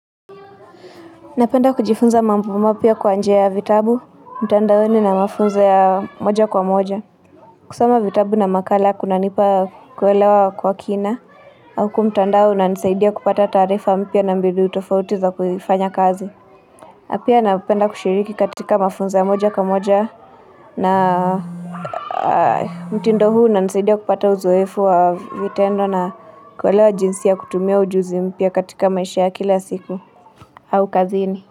Napenda kujifunza mambo mapya kwa njia ya vitabu, mtandaoni na mafunzo ya moja kwa moja. Kusoma vitabu na makala kunanipa kuelewa kwa kina. Au kwa mtandao unanisaidia kupata taarifa mpya na mbinu tofauti za kufanya kazi. Na pia napenda kushiriki katika mafunzo ya moja kwa moja na mtindo huu unanisaidia kupata uzoefu wa vitendo na kuelewa jinsi ya kutumia ujuzi mpya katika maisha ya kila siku. Au kazini.